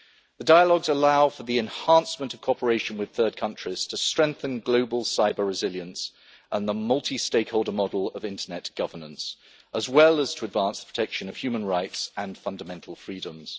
The dialogues allow for the enhancement of cooperation with third countries to strengthen global cyber resilience and the multi stakeholder model of internet governance, as well as to advance the protection of human rights and fundamental freedoms.